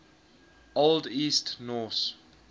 old east norse